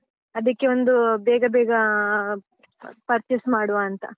ಅದಕ್ಕೇ ಒಂದು ಬೇಗ ಬೇಗ ಅ purchase ಮಾಡುವಂತ.